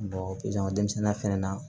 denmisɛnninya fɛnɛ na